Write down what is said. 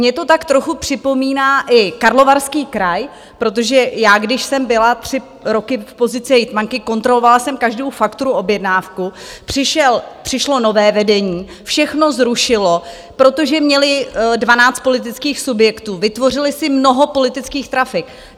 Mě to tak trochu připomíná i Karlovarský kraj, protože já když jsem byla tři roky v pozici hejtmanky, kontrolovala jsem každou fakturu, objednávku, přišlo nové vedení, všechno zrušilo, protože měli 12 politických subjektů, vytvořili si mnoho politických trafik.